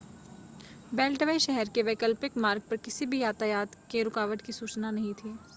beltway शहर के वैकल्पिक मार्ग पर किसी भी यातायात के रुकावट की सूचना नहीं थी